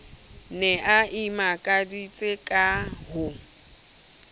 ne a imakaditse ka ho